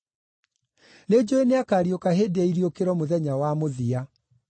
“Nĩnjũũĩ nĩakariũka hĩndĩ ya iriũkĩro mũthenya wa mũthia.”